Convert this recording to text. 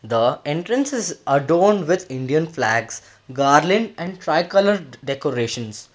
the entrance is adorned with Indian flags garland and tri colour decorations.